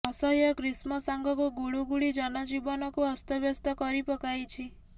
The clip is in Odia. ଅସହ୍ୟ ଗ୍ରୀଷ୍ମ ସାଙ୍ଗକୁ ଗୁଳୁଗୁଳି ଜନଜୀବନକୁ ଅସ୍ତବ୍ୟସ୍ତ କରି ପକାଇଛି